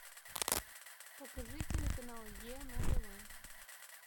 покажи телеканал е на тв